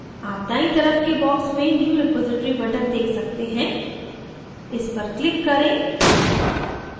आप दायीं तरफ के box में new repository button देख सकते हैं; इस पर click करें